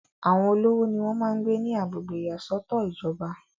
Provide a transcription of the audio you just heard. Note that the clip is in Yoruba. àwọn olówó ni wọ́n máa ń gbé ní agbègbè ìyàsọ́tọ̀ ìjọba